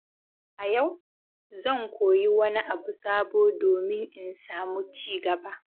A yau, zan koyi wani abu sabo domin in samu ci gaba.